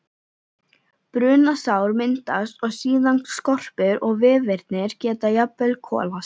Brunasár myndast og síðan skorpur og vefirnir geta jafnvel kolast.